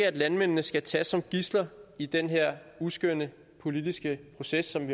at landmændene skal tages som gidsler i den her uskønne politiske proces som